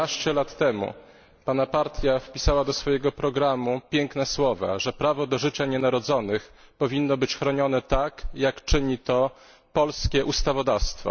Jedenaście lat temu pana partia wpisała do swojego programu piękne słowa, że prawo do życia nienarodzonych powinno być chronione tak, jak czyni to polskie ustawodawstwo.